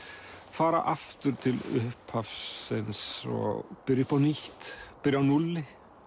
fara aftur til upphafsins og byrja upp á nýtt byrja á núlli